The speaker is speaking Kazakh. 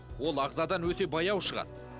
ол ағзадан өте баяу шығады